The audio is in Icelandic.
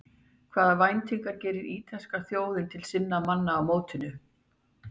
Hvaða væntingar gerir ítalska þjóðin til sinna manna á mótinu?